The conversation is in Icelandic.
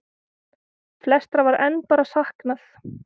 Flestra var enn bara saknað.